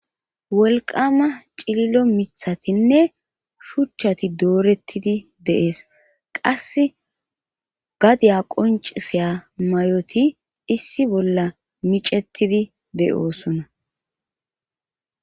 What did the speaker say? Wolqama cillo mithatinne shuchchati doorettidi deees qase gadiya qoncisiya may7oti issi bolla micettidi de7oosona